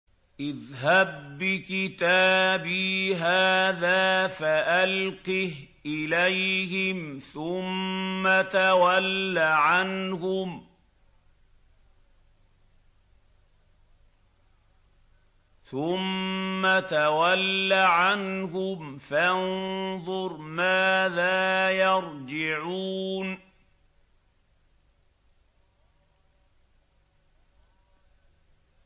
اذْهَب بِّكِتَابِي هَٰذَا فَأَلْقِهْ إِلَيْهِمْ ثُمَّ تَوَلَّ عَنْهُمْ فَانظُرْ مَاذَا يَرْجِعُونَ